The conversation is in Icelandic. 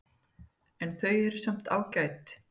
En þau eru samt ágæt.